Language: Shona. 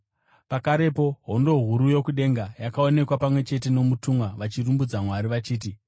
Pakarepo hondo huru yokudenga yakaonekwa pamwe chete nomutumwa vachirumbidza Mwari vachiti: